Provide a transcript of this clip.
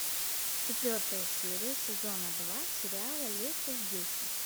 четвертая серия сезона два сериала леся здеся